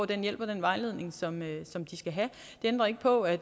den hjælp og den vejledning som som de skal have det ændrer ikke på at